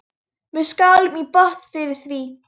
Við skálum í botn fyrir því.